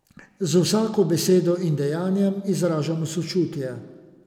Z vsako besedo in dejanjem izražajmo sočutje.